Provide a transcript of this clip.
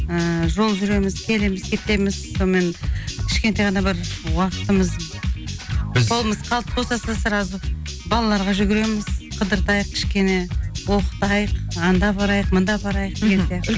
ііі жол жүреміз келеміз кетеміз сонымен кішкентай ғана бір уақытымыз біз қолымыз қалт босаса сразу балаларға жүгіреміз қыдыртайық кішкене оқытайық анда барайық мында барайық